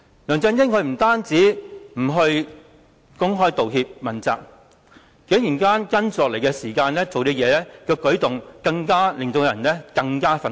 梁振英不單沒有公開道歉及問責，接下來的舉動更令人感到非常憤怒。